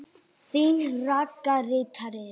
Þín Ragga ritari.